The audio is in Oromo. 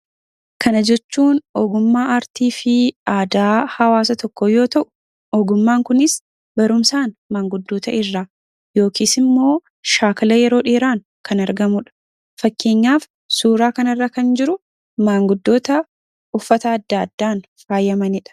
Kana jechuun ogummaa, aartii fi aadaa hawaasa tokkoo yoo ta'u, ogummaan kunis barumsaan, manguddoota irraa yookiin immoo shaakala yeroo dheeraan kan argamuudha. Fakkeenyaaf suuraa kanarra kan jiru manguddoota uffata adda addaan faayamaniidha.